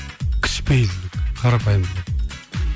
кішіпейілділік қарапайымдылық